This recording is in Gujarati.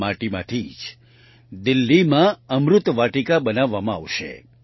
આ માટીમાંથી જ દિલ્હીમાં અમૃત વાટિકા બનાવવામાં આવશે